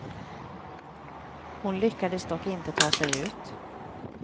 Hon lyckades dock inte ta sig ut.